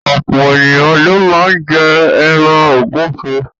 Ọ̀pọ̀ ènìyàn ló máá ń jẹ ẹran ògúnfe